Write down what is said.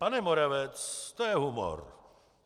Pane Moravec, to je humor.